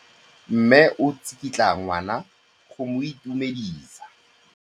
Mme o tsikitla ngwana go mo itumedisa.